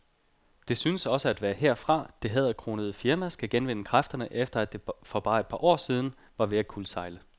Det synes også at være herfra, det hæderkronede firma skal genvinde kræfterne, efter at det for bare et par år siden var ved at kuldsejle.